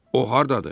O hardadır?